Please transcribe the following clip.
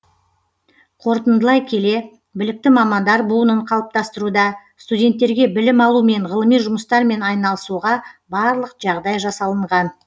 қорытындылай келе білікті мамандар буынын қалыптастыруда студенттерге білім алу мен ғылыми жұмыстармен айналысуға барлық жағдай жасалынған